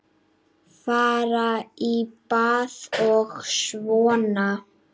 Fara í bað og svona.